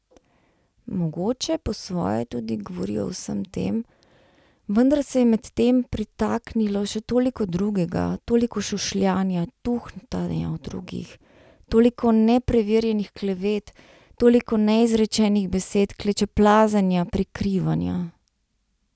Mogoče po svoje tudi govori o vsem tem, vendar se je medtem pritaknilo še toliko drugega, toliko šušljanja, tuhtanja o drugih, toliko nepreverjenih klevet, toliko neizrečenih besed, klečeplazenja, prikrivanja.